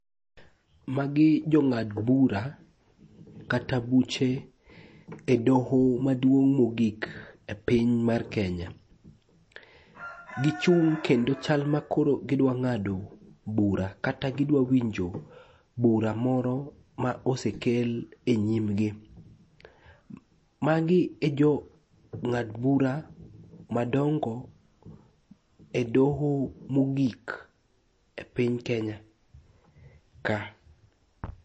Magi jong'ad bura kata buche e doho maduong' mogik e piny mar Kenya. Gichung' kendo chal makoro gidwa ng'ado bura kata gidwa winjo bura moro ma osekel e nyimgi. Magi e jo ng'ad bura madongo e doho mogik e piny Kenya ka.